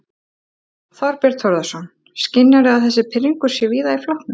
Þorbjörn Þórðarson: Skynjarðu að þessi pirringur sé víða í flokknum?